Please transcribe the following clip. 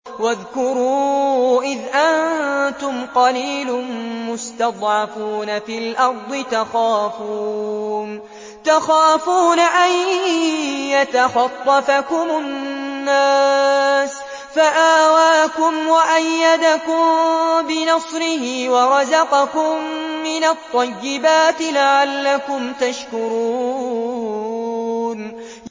وَاذْكُرُوا إِذْ أَنتُمْ قَلِيلٌ مُّسْتَضْعَفُونَ فِي الْأَرْضِ تَخَافُونَ أَن يَتَخَطَّفَكُمُ النَّاسُ فَآوَاكُمْ وَأَيَّدَكُم بِنَصْرِهِ وَرَزَقَكُم مِّنَ الطَّيِّبَاتِ لَعَلَّكُمْ تَشْكُرُونَ